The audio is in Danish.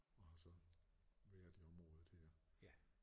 Og har så været i området her